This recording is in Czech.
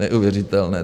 Neuvěřitelné!